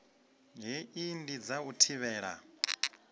hei ndi dza u thivhela